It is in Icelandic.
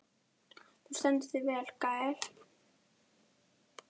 Þú stendur þig vel, Gael!